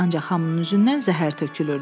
Ancaq hamının üzündən zəhər tökülürdü.